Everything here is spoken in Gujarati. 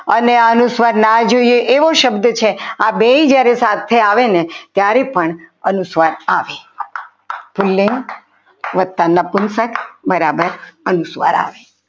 અને અનુસ્વાર ના જોઈએ એવો શબ્દ છે આ બે જ્યારે સાથે આવે ને ત્યારે પણ અનુસ્વાર આવે સ્ત્રીલિંગ વધતા નપુંચક બરાબર અનુસ્વાર આવે.